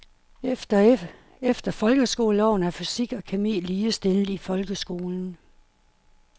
Efter folkeskoleloven er fysik og kemi ligestillet i folkeskolen.